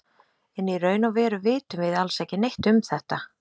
En í raun og veru vitum við alls ekki neitt um þetta.